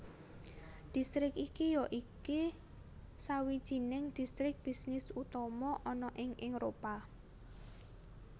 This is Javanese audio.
Distrik iki yaiki sawijining distrik bisnis utama ana ing Éropah